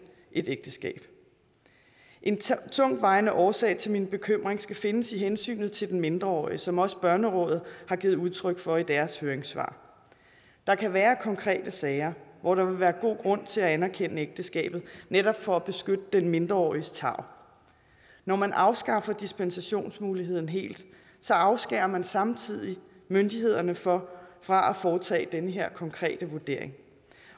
et ægteskab en tungtvejende årsag til min bekymring skal findes i hensynet til den mindreårige som også børnerådet har givet udtryk for i deres høringssvar der kan være konkrete sager hvor der vil være god grund til at anerkende ægteskabet netop for at beskytte den mindreåriges tarv når man afskaffer dispensationsmuligheden helt afskærer man samtidig myndighederne fra fra at foretage den her konkrete vurdering